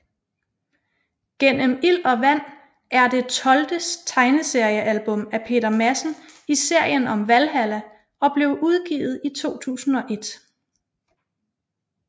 Gennem ild og vand er det tolvte tegneseriealbum af Peter Madsen i serien om Valhalla og blev udgivet i 2001